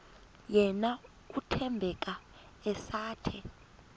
yena uthembeka esathe